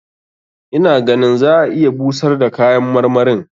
Ina ganin za a iya busar da kayan marmarin.